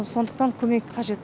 сондықтан көмек қажет